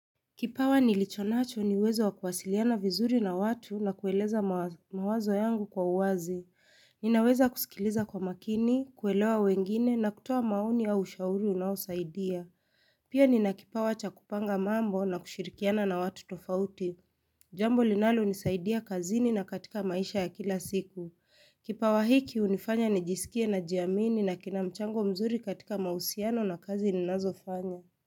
Kipawa nilichonacho ni uwezo wa kuwasiliana vizuri na watu na kueleza mawazo yangu kwa uwazi. Ninaweza kusikiliza kwa makini, kuelewa wengine na kutoa maoni ya ushauri unaosaidia. Pia nina kipawa cha kupanga mambo na kushirikiana na watu tofauti. Jambo linalonisaidia kazini na katika maisha ya kila siku. Kipawa hiki hunifanya nijisikie najiamini na kina mchango mzuri katika majusiano na kazi ninazofanya.